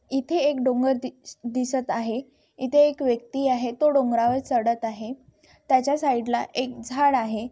इथे एक डोंगर दी दिसत आहे. इथे एक व्यक्ति आहे तो डोंगरावर चडत आहे त्याच्या साइडला एक झाड आहे.